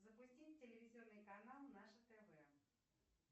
запустить телевизионный канал наше тв